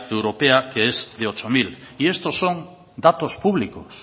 europea que es de ocho mil y estos son datos públicos